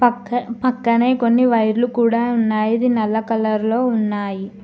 పక్క పక్కనే కొన్ని వైర్లు కూడా ఉన్నాయి ఇది నల్ల కలర్ లో ఉన్నాయి.